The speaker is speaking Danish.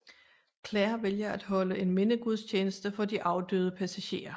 Claire vælger at holde en mindegudstjeneste for de afdøde passagerer